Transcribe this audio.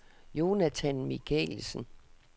Jonathan Michaelsen